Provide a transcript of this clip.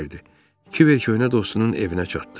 Kiver köhnə dostunun evinə çatdı.